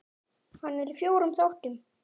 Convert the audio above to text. Hann er í fjórum þáttum.